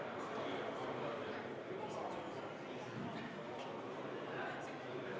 Head kolleegid, kui saaks natuke vaiksemalt saalis!